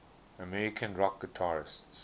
american rock guitarists